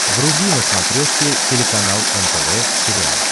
вруби на смотрешке телеканал нтв сериал